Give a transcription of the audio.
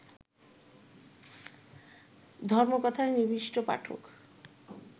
ধর্মকথার নিবিষ্ট পাঠক